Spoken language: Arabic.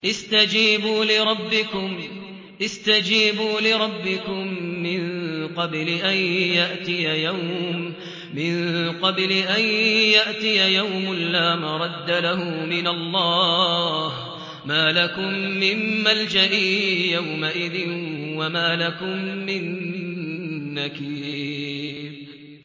اسْتَجِيبُوا لِرَبِّكُم مِّن قَبْلِ أَن يَأْتِيَ يَوْمٌ لَّا مَرَدَّ لَهُ مِنَ اللَّهِ ۚ مَا لَكُم مِّن مَّلْجَإٍ يَوْمَئِذٍ وَمَا لَكُم مِّن نَّكِيرٍ